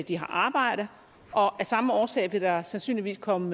de har arbejde og af samme årsag vil der sandsynligvis komme